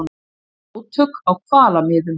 Átök á hvalamiðum